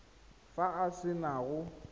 fa a se na go